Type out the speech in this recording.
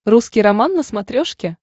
русский роман на смотрешке